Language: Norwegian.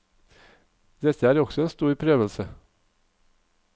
Dette er også en stor prøvelse.